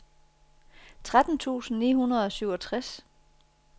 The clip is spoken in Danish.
tretten tusind ni hundrede og syvogtres